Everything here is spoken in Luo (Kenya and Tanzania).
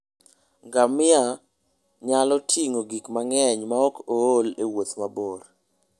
Ngamia nyalo ting'o gik mang'eny maok ool e wuoth mabor.